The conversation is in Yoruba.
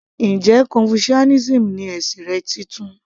Njẹ́ confucianism ni ẹ̀sìn rẹ titun?